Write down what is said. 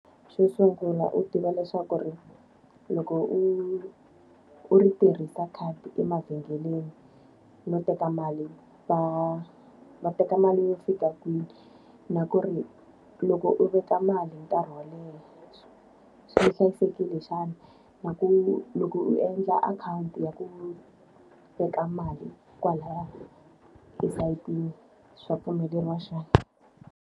Xo sungula u tiva leswaku ku ri loko u u ri tirhisa khadi emavhengeleni, no teka mali va va teka mali yo fika kwihi? Na ku ri loko u veka mali nkarhi wo leha swi hlayisekile xana? Na ku loko u endla akhawunti ya ku veka mali kwalaya esayitini, swa pfumeleriwa xana?